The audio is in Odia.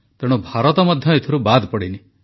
ତେଣୁ ଭାରତ ମଧ୍ୟ ଏଥିରୁ ବାଦ୍ ପଡ଼ିନି